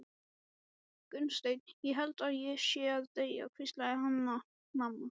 Gunnsteinn, ég held ég sé að deyja, hvíslaði Hanna-Mamma.